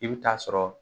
I bɛ taa sɔrɔ